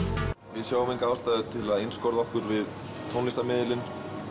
við sjáum enga ástæðu til að einskorða okkur við tónlistarmiðilinn